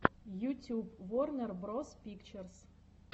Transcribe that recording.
ютюб ворнер броз пикчерз